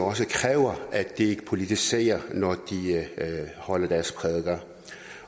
at de ikke politiserer når de holder deres prædikener